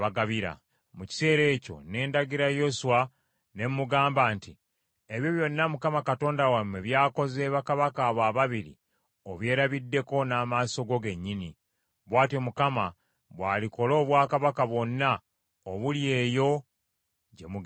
Mu kiseera ekyo ne ndagira Yoswa, ne mmugamba nti, “Ebyo byonna Mukama Katonda wammwe byakoze bakabaka abo ababiri obyerabiddeko n’amaaso go gennyini. Bw’atyo Mukama bw’alikola obwakabaka bwonna obuli eyo gye mugenda.